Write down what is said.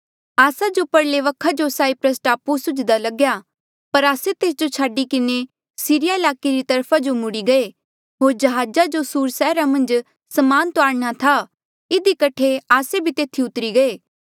आस्सा जो परले वखा जो साईप्रस टापू सुझ्दा लग्या पर आस्से तेस जो छाडी किन्हें सीरिया ईलाके री तरफा जो मुड़ी गये होर जहाजा जो सुर सैहरा मन्झ समान तुआरणा था इधी कठे आस्से भी तेथी उतरी गये